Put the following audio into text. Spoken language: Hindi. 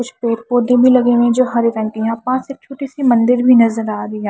कुछ पेड़ पौधे भी लगे हुए हैं जो हरे रंग के यहां पास एक छोटी सी मंदिर भी नजर आ रही है।